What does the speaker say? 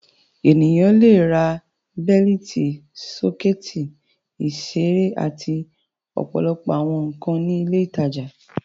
Ènìyàn le ra bẹ́lítì, sọ́kẹ́tì, ìṣeré àti ọ̀pọ̀lọpọ̀ àwọn nǹkan ní ilé-ìtajà.